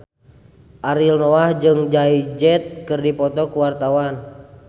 Ariel Noah jeung Jay Z keur dipoto ku wartawan